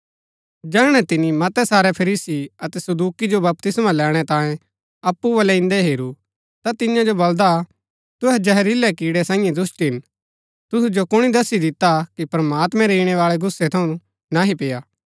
जैहणै तिनी मतै सारै फरीसी अतै सदूकि जो बपतिस्मा लैणैं तांऐ अप्पु बल्लै इन्दै हेरू ता तियां जो बलदा तुहै जहरीलै कीड़ै सांईये दुष्‍ट हिन तुसु जो कुणी दस्सी दिता कि प्रमात्मैं रै ईणैबाळै गुस्सै थऊँ नह्ही पेय्आ